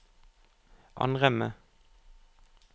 Ann Remme